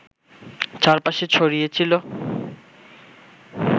চারপাশে ছড়িয়ে ছিল